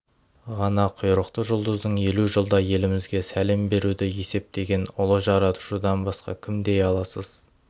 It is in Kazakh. ғана құйрықты жұлдыздың елу жылда елімізге сәлем беруді есептеген ұлы жаратушыдан басқа кім дей аласыз